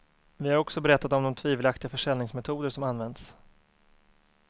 Vi har också berättat om de tvivelaktiga försäljningsmetoder som använts.